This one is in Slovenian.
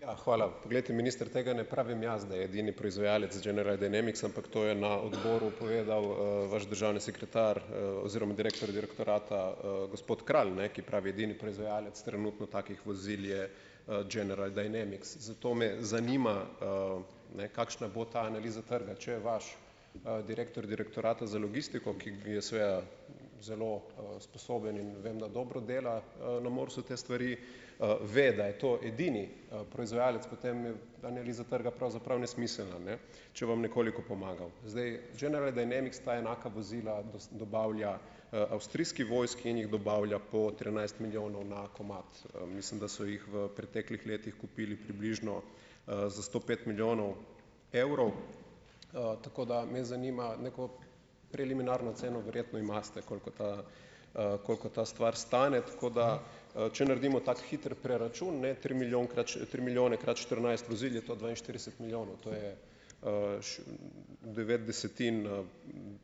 Ja, hvala. Poglejte, minister, tega ne pravim jaz, da je edini proizvajalec General Dynamics, ampak to je na odboru povedal, vaš državni sekretar, oziroma direktor direktorata, gospod Kralj, ne, ki pravi, edini proizvajalec trenutno takih vozil je, General Dynamics. Zato me zanima, ne, kakšna bo ta analiza trga, če vaš, direktor Direktorata za logistiko, ki je seveda zelo, sposoben in vem, da dobro dela, na MORS-u te stvari, ve, da je to edini, proizvajalec, potem je analiza trga pravzaprav nesmiselna. Ne. Če vam nekoliko pomagam. Zdaj General Dynamics sta enaka vozila, dobavlja, avstrijski vojski in jih dobavlja po trinajst milijonov na komad. Mislim, da so jih v preteklih letih kupili približno, za sto pet milijonov evrov. Tako da me zanima, neko preliminarno ceno verjetno imate, koliko ta, koliko ta stvar stane. kot da, če naredimo tak hiter preračun, ne, tri milijonkrat, tri milijone krat štirinajst vozil je to dvainštirideset milijonov. To je, devet desetin,